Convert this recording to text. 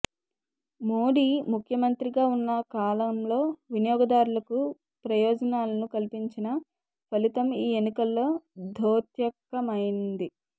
మోడీ ముఖ్యమంత్రిగా ఉన్న కాలంలో వినియోగదారులకు ప్రయోజనాలను కల్పించిన ఫలితం ఈ ఎన్నికలలో ద్యోతకమైంది